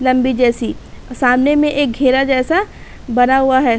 लम्बी जैसी सामने में एक घेरा जैसा बना हुआ है।